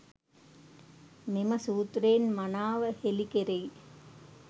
මෙම සූත්‍රයෙන් මනාව හෙළි කෙරෙයි.